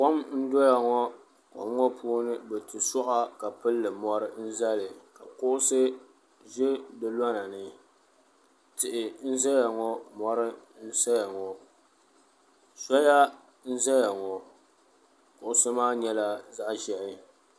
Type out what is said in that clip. Kom n doya ŋɔ kom ŋɔ puuni bɛ ti suɣa ka pilili mori n zali ka kuɣusi ʒɛ di lonani tihi n zaya ŋɔ mori n saya ŋɔ soya n zaya ŋɔ kuɣusi maa nyɛla zaɣa ʒehi.